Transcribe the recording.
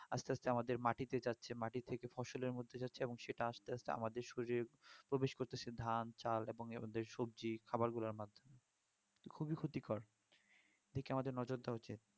আস্তে আস্তে আমাদের মাটিতে যাচ্ছে মাটি থেকে ফসলের মধ্যে যাচ্ছে এবং সেটা আস্তে আস্তে আমাদের শরীরে প্রবেশ করতেছে ধান চাল এবং নেই আমাদের সবজি খাবারগুলোর মাধ্যমে খুবই ক্ষতিকর এদিকে আমাদের নজর দেওয়া উচিত